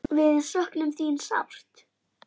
Við söknum þín sárt.